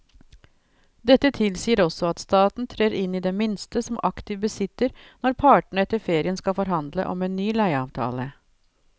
Dette tilsier også at staten trer inn i det minste som aktiv bisitter når partene etter ferien skal forhandle om en ny leieavtale.